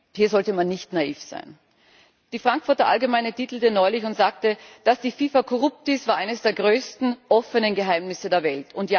Hier sollte man nicht naiv sein. Die Frankfurter Allgemeine titelte neulich und sagte Dass die FIFA korrupt ist, war eines der größten offenen Geheimnisse der Welt.